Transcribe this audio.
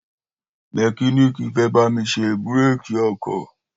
mẹkíníìkì fẹ́ bámi ṣe búrékì ọkọ̀